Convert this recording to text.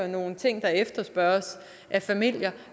nogle ting der efterspørges af familier